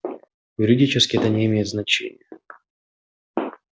юридически это не имеет значения